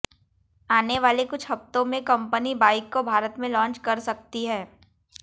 आने वाले कुछ हफ्तों में कंपनी बाइक को भारत में लॉन्च कर सकती है